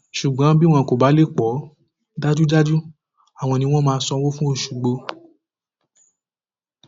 ṣùgbọn bí wọn kò bá lè pọ ọ dájúdájú àwọn ni wọn máa sanwó fún oṣùgbọ